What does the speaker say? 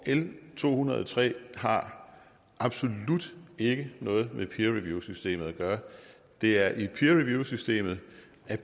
l to hundrede og tre har absolut ikke noget med peer review systemet at gøre det er i peer review systemet